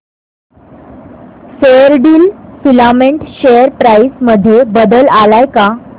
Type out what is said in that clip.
Fairdeal filament share price मध्ये बदल आलाय का